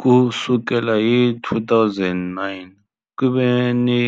Ku sukela hi 2009, ku ve ni